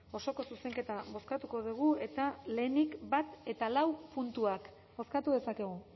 osoko zuzenketa bozkatuko dugu eta lehenik bat eta lau puntuak bozkatu dezakegu